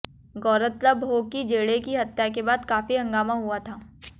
गौरतलब हो कि जेडे की हत्या के बाद काफी हंगामा हुआ था